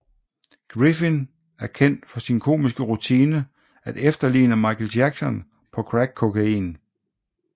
Griffin er kendt for sin komiske rutine at efterligne Michael Jackson på crack kokain